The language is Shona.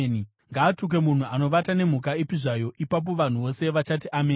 “Ngaatukwe munhu anovata nemhuka ipi zvayo.” Ipapo vanhu vose vachati, “Ameni!”